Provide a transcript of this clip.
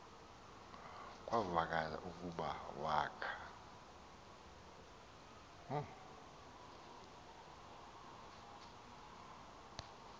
kuvakala ukuba wakha